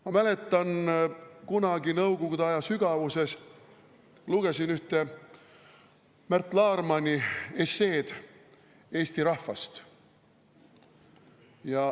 Ma mäletan, kunagi nõukogude aja sügavuses ma lugesin ühte Märt Laarmani esseed eesti rahvast.